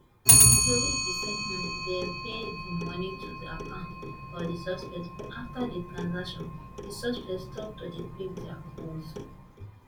tori be say um dem pay di money to the account of di suspect but afta di transaction di suspect stop to dey pick dia calls